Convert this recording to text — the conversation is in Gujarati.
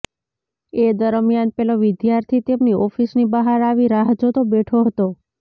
એ દરમિયાન પેલો વિદ્યાર્થી તેમની ઓફિસની બહાર આવી રાહ જોતો બેઠો હતો